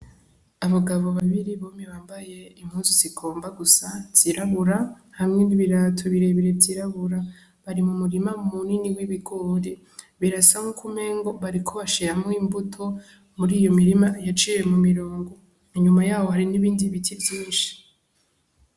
Abagabo babiri bompi bambaye impuzu zigomba gusa ni zirabura hamwe n'ibirato birebire vyirabura bari mu murima mu nini w'ibigori birasa nkumengo bariko bashiramwo imbuto muri iyo mirima yaciye mu mirongo inyuma yawo hari n'ibindi biti vyinshi.